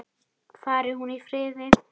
Fari hún í friði.